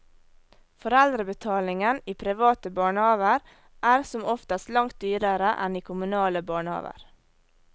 Foreldrebetalingen i private barnehaver er som oftest langt dyrere enn i kommunale barnehaver.